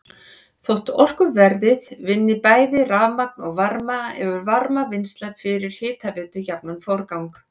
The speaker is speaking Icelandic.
Þótt orkuverið vinni bæði rafmagn og varma hefur varmavinnsla fyrir hitaveitu jafnan forgang.